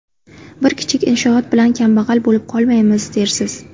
Bir kichik inshoot bilan kambag‘al bo‘lib qolmaymiz, dersiz.